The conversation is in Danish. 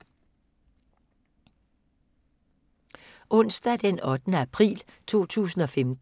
Onsdag d. 8. april 2015